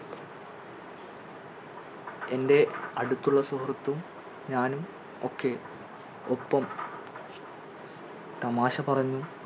എൻറെ അടുത്തുള്ള സുഹൃത്തും ഞാനും ഒക്കെ ഒപ്പം തമാശ പറഞ്ഞും